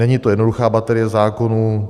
Není to jednoduchá baterie zákonů.